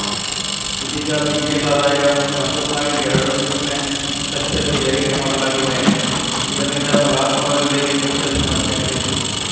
ಇದೀಗ ಬಿಪಿಎಲ್‌ ಆದಾಯ ಒಂದು ಪಾಯಿಂಟ್ ಇಪ್ಪತ್ತು ಲಕ್ಷ ರು ಏರಿಕೆ ಮಾಡಲಾಗಿದೆ ಇದರಿಂದ ಫಲಾನುಭವಿಗಳಿಗೆ ಕೊಂಚ ಸಮಸ್ಯೆಯಾಗಿತ್ತು